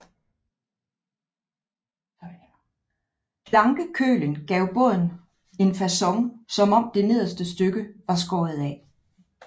Plankekølen gav båden en facon som om det nederste stykke var skåret af